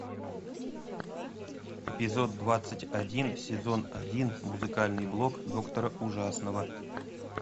эпизод двадцать один сезон один музыкальный блог доктора ужасного